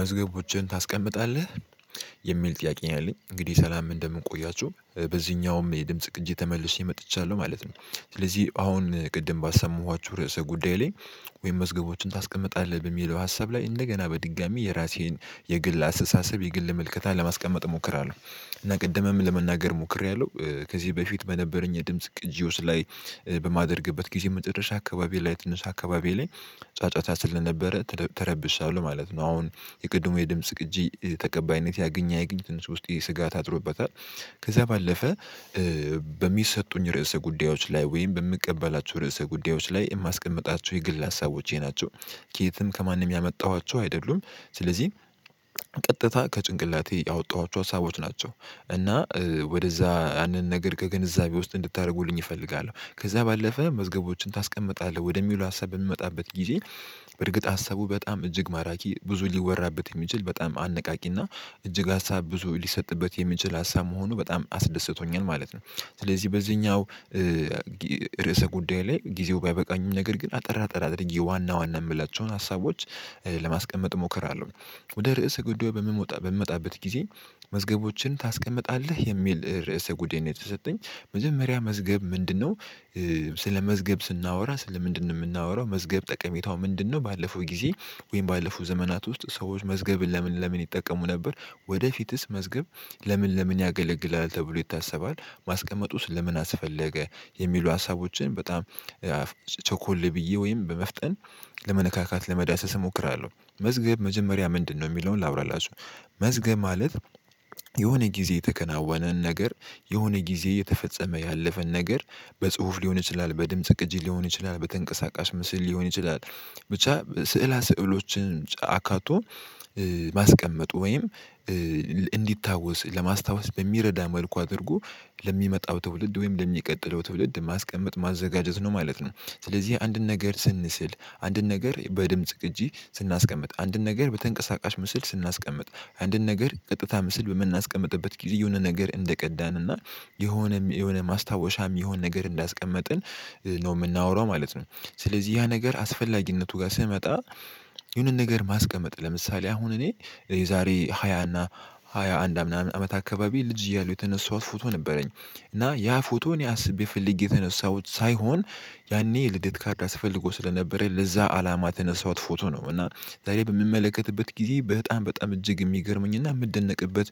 መዝገቦችን ታስቀምጣለህ? የሚል ጥያቄኛ አለኝ እንግዲህ ሰላም እንደምንቆያችሁ በዚህኛውም የድምጽ ቅጂ ተመልሼ መጥቻለሁ ማለት ነው። ስለዚህ አሁን ቅድም ባሰማኋችሁ ርዕሰ ጉዳይ ላይ። ወይም መዝገቦችን ታስቀምጣለህ በሚለው ሀሳብ ላይ እንደገና በድጋሚ የራሴን የግል አስተሳሰብ የግል ምልከታ ለማስቀመጥ ሞክር አለው። እና ቅድምም ለመናገር ሞክሬያለሁ ከዚህ በፊት በነበረኝ የድምጽ ቅጂ ውስጥ ላይ በማደርግበት ጊዜ መጨረሻ አካባቢ ላይ ትንሽ አካባቢ ላይ ጫጫታ ስለነበረ ተረብሻለሁ ለማለት ነው። አሁን የቅድሙ የድምጽ ቅጂ ተቀባይነት ያግኝ ያገኘ ውስጥ ይሄ ስጋ ታጥሮበታል። ከዛ ባለፈ በሚሰጡኝ ርዕሰ ጉዳዮች ላይ ወይም በምቀበላቸው ርዕሰ ጉዳዮች ላይ የማስቀምጣቸው የግል ሀሳቦቼ ናቸው። ከየትም ከማንም ያመጣኋቸው አይደሉም። ስለዚህ ቀጥታ ከጭንቅላቴ ያወጣኋቸው ሀሳቦች ናቸው። እና ወደዛ ያንን ነገር ከግንዛቤ ውስጥ እንድታደርጉልኝ እፈልጋለሁ። ከዛ ባለፈ መዝገቦችን ታስቀምጣለህ ወደሚሉ ሀሳብ ብንመጣበት ጊዜ። በእርግጥ ሀሳቡ በጣም እጅግ ማራኪ ብዙ ሊወራበት የሚችል በጣም አነቃቂና እጅግ ሀሳብ ብዙ ሊሰጥበት የሚችል ሀሳብ መሆኑ በጣም አስደስቶኛል ማለት ነው። ስለዚህ በዚህኛው ርዕሰ ጉዳይ ላይ ጊዜው ባይበቃኝም ነገር ግን አጠር አጠር አድርጌ ዋና ዋና የምላቸውን ሀሳቦች ለማስቀመጥ ሞከር አለው። ወደ ርዕሰ ጉዳዩ በምመጣበት ጊዜ መዝገቦችን ታስቀምጣለህ የሚል ርዕሰ ጉዴን የተሰጠኝ መጀመሪያ መዝገብ ምንድነው? ስለ መዝገብ ስናወራ ስለ ምንድነው የምናወራው መዝገብ ጠቀሜታው ምንድነው ባለፈው ጊዜ? ወይም ባለፈው ዘመናት ውስጥ ሰዎች መዝገብን ለምን ለምን ይጠቀሙ ነበር? ወደፊትስ መዝገብ ለምን ለምን ያገለግላል ተብሎ ይታሰባል ማስቀመጥ ውስጥ ለምን አስፈለገ? የሚሉ ሀሳቦችን በጣም ቸኮል ብዬ ወይም በመፍጠን ለመነካካት ለመዳሰስ እሞክራለሁ። መዝገብ መጀመሪያ ምንድነው የሚለውን ላውራላችሁ። መዝገብ ማለት። የሆነ ጊዜ የተከናወነን ነገር የሆነ ጊዜ የተፈጸመ ያለፈን ነገር በጽሁፍ ሊሆን ይችላል በድምጽ ቅጂ ሊሆን ይችላል በተንቀሳቃሽ ምስል ሊሆን ይችላል። ብቻ ስዕለ ስዕሎችን አካቶ ማስቀመጡ ወይም እንዲታወስ ለማስታወስ በሚረዳ መልኩ አድርጎ ለሚመጣው ትውልድ ወይም ለሚቀጥለው ትውልድ ማስቀመጥ ማዘጋጀት ነው ማለት ነው። ስለዚህ አንድን ነገር ስንስል አንድን ነገር በድምጽ ግን ስናስቀምጥ አንድን ነገር በተንቀሳቃሽ ምስል ስናስቀምጥ አንድን ነገር ቀጥታ ምስል በምናስቀምጥበት ጊዜ የሆነ ነገር እንደቀዳንና የሆነ የሆነ ማስታወሻም የሆነ ነገር እንዳስቀመጥን ነው የምናወራው ማለት ነው። ስለዚህ ያ ነገር አስፈላጊነቱ ጋር ስመጣ የሆነ ነገር ማስቀመጥ ለምሳሌ አሁን እኔ የዛሬ ሃያ እና ሃያ አንድ አመት አካባቢ ልጅ እያሉ የተነሳሁት ፎቶ ነበረኝ። እና ያ ፎቶ እኔ አስቤ ብፈልግ የተነሳሁት ሳይሆን ያኔ ልደት ካርድ አስፈልጉ ስለነበረ ለዛ አላማ ተነሳሁት ፎቶ ነው እና ዛሬ በምመለከትበት ጊዜ በጣም በጣም እጅግ የሚገርመኝና የምደነቅበት